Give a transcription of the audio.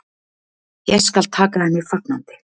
Ég skal taka henni fagnandi.